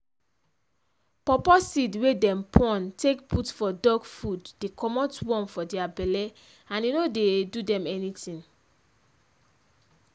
paw paw seed wey dem poun take put for dog food dey commot worm for dia belle and e no dey do dem anything.